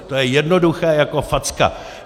To je jednoduché jako facka.